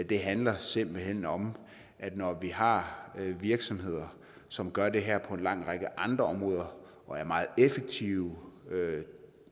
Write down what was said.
det handler simpelt hen om at når vi har virksomheder som gør det her på en lang række andre områder og er meget effektive